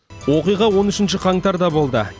оқиға он үшінші қаңтарда болды